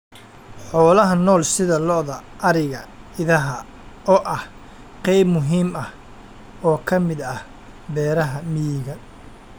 Xoolaha nool sida Lo'da, Ariga, Idaha oo ah qayb muhiim ah oo ka mid ah beeraha miyiga.